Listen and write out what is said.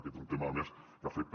aquest és un tema a més que afecta